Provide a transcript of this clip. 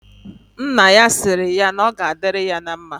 Nna ya sịrị ya na ọ ga adịrị ya na mma